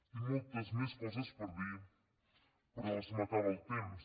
tinc moltes més coses per dir però se m’acaba el temps